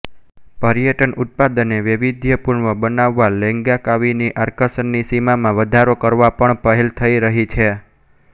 પર્યટન ઉત્પાદનને વૈવિધ્યપૂર્ણ બનાવવાલેંગકાવીની આકર્ષણની સીમામાં વધારો કરવાપણ પહેલ થઇ રહી છે